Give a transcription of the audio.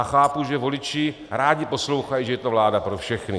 A chápu, že voliči rádi poslouchají, že je to vláda pro všechny.